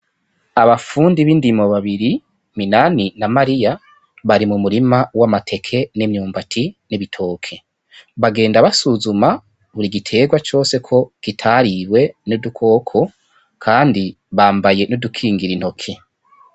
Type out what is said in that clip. Abafundi b'indimo babiri Minani na Mariya bari mu murima w'amateke n'imyumbati n'ibitoke bagenda basuzuma buri giterwa cose ko kitariwe n'udukoko kandi bambaye n'udukingira intoke.